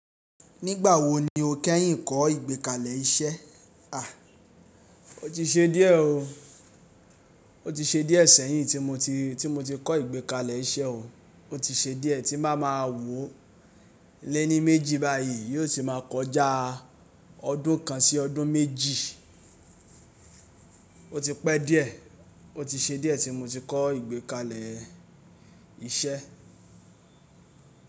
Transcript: Nígbà wo ni o kẹ́yìn kọ́ ìgbékalẹ̀ iṣẹ́? À, ó ti ṣe díẹ̀ ọ. Ó ti ṣe díẹ̀ sẹ́yìn tí mo ti, tí mo ti kọ́ ìgbékalẹ̀ iṣẹ́ o. Ó ti ṣe díẹ̀ tí máa ma wò ó. Léní méjì báyìí yó ti máa kọjá ọdún kan sí ọdún méjì. Ó ti pẹ́ díẹ̀, ó ti ṣe díẹ̀ tí mo ti kọ́ ìgbékalẹ̀ iṣẹ́